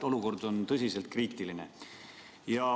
Olukord on tõesti kriitiline.